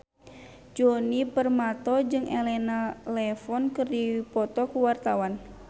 Djoni Permato jeung Elena Levon keur dipoto ku wartawan